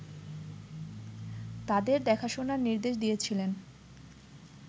তাদের দেখাশোনার নির্দেশ দিয়েছিলেন